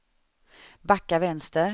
backa vänster